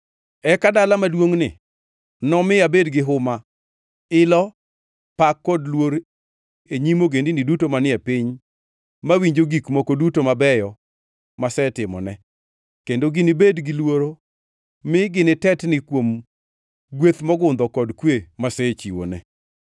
Eka dala maduongʼni nomi abed gihuma, ilo, pak kod luor e nyim ogendini duto manie piny mawinjo gik moko duto mabeyo masetimone; kendo ginibed gi luoro mi ginitetni kuom gweth mogundho kod kwe masechiwone.’